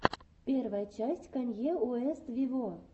первая часть канье уэст вево